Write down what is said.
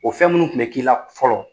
O fɛn minnu kun bɛ k'i la fɔlɔ